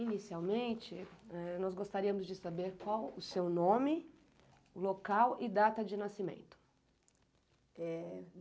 Inicialmente, ah nós gostaríamos de saber qual o seu nome, local e data de nascimento. Eh